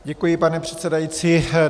Děkuji, pane předsedající.